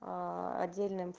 аа отдельным ф